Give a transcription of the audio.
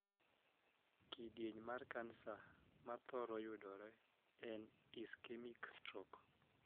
Kidieny mar kansa ma thoro yudore en 'ischemic stroke'.